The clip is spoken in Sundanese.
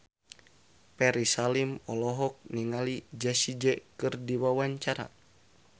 Ferry Salim olohok ningali Jessie J keur diwawancara